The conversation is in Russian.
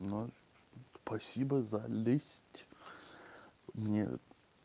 ну спасибо за лесть мне